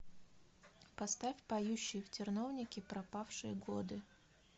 поставь поющие в терновнике пропавшие годы